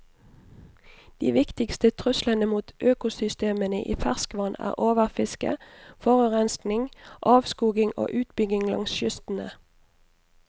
De viktigste truslene mot økosystemene i ferskvann er overfiske, forurensning, avskoging og utbygging langs kystene.